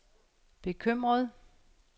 bekymret